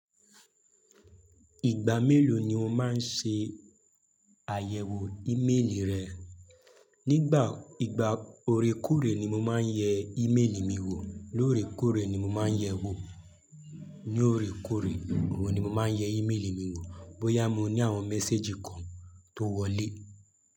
Ìgbà mélòó ni o máa ń ṣe àyẹ̀wò ìméèlì rẹ? Nígbà ìgbà ore kóre ni mo máa ń yẹ ìméèlì mi wò. Lóòrè kóòrè ni mo máa ń yẹ̀ wò. Ni óòrè kóòrè ni mo máa ń yẹ ìméèlì mi wò bóyá mo ní àwọn méséjì kan tó wọlé.